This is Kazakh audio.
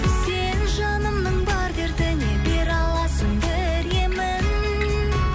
сен жанымның бар дертіне бере аласың бір емін